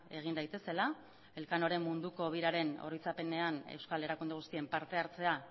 egin daitezela elkanoren munduko biraren oroitzapenean euskal erakunde guztien parte hartzea